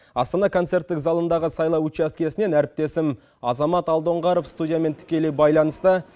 астана концерттік залындағы сайлау учаскесінен әріптесім азамат алдоңғаров студиямен тікелей байланыста